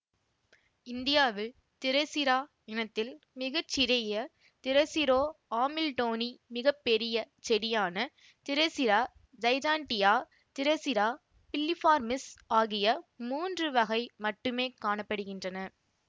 இந்தியாவில் திரசிரா இனத்தில் மிக சிறிய திரசிரோ ஆமில்டோனி மிக பெரிய செடியான திரசிரா ஜைஜாண்டியா திரசிரா பில்லிபார்மிஸ் ஆகிய மூன்று வகை மட்டுமே காண படுகின்றன